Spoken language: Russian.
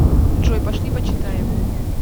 джой пошли почитаем